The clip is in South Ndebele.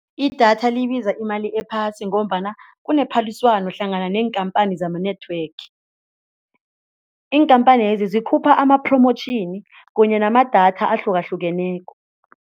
Idatha libiza imali ephasi ngombana kunephaliswano hlangana neenkhamphani zama-network iinkhamphanezi zikhupha ama-promotion kunye namadatha ahlukahlukeneko.